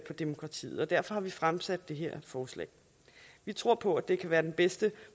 demokratiet og derfor har vi fremsat det her forslag vi tror på at det kan være den bedste